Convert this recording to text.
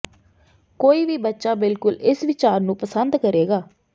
ਕੋਈ ਵੀ ਬੱਚਾ ਬਿਲਕੁਲ ਇਸ ਵਿਚਾਰ ਨੂੰ ਪਸੰਦ ਕਰੇਗਾ